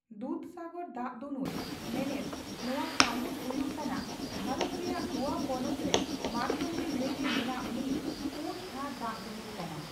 ᱫᱩᱫᱷᱥᱟᱜᱚᱨ ᱫᱟᱜ ᱫᱩᱱᱩᱞ, ᱢᱮᱱᱮᱫ 'ᱛᱚᱣᱟ ᱥᱟᱹᱢᱩᱫᱽ' ᱦᱩᱭᱩᱜ ᱠᱟᱱᱟ ᱵᱷᱟᱨᱛ ᱨᱮᱭᱟᱜ ᱜᱳᱣᱟ ᱯᱚᱱᱚᱛ ᱨᱮ ᱢᱟᱱᱰᱩᱵᱷᱤ ᱱᱟᱹᱭ ᱨᱮ ᱢᱮᱱᱟᱜ ᱢᱤᱫ ᱯᱩᱱᱼᱛᱷᱟᱨ ᱫᱟᱜ ᱫᱩᱱᱩᱞ ᱠᱟᱱᱟ᱾